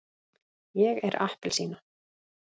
ég er appelsína.